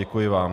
Děkuji vám.